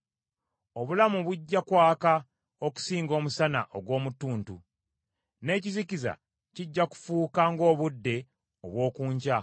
Obulamu bujja kwaka okusinga omusana ogw’omu ttuntu, n’ekizikiza kijja kufuuka ng’obudde obw’oku nkya.